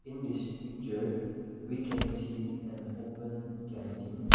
in this picture we can see an open canteen.